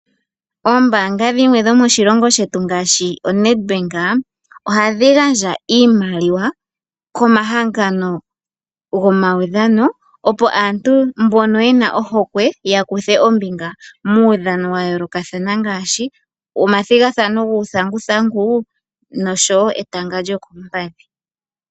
Oombaanga dhimwe dhomoshilongo shetu ngaashi oNedbank ohadhi gandja iimaaliwa komahangano gomaudhano opo aantu mbono yena ohokwe yakuthe ombinga. muudhano wayoolokathana ngaashi omathigathano guuthanguthangu nosho woo etanga lyokoompadhi